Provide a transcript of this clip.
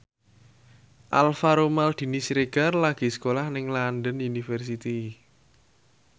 Alvaro Maldini Siregar lagi sekolah nang London University